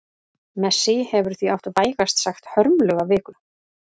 Messi hefur því átt vægast sagt hörmulega viku.